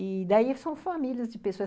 E daí são famílias de pessoas.